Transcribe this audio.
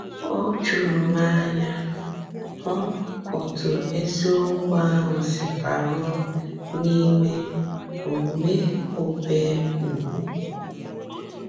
Ò jùrù m ànyà hụ́ òtù ezìokwu ahụ sì bàrùò n’Ìmè Ȯmè Ȯbé Úgwù.